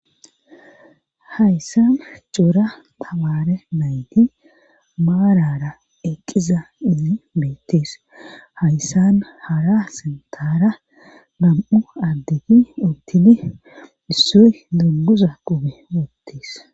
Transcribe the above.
hayssan cora tamaare nayti baarara eqqiza inni beettees hayssan hara sintara gam7u addegi urtini issoy dunguza qube woottes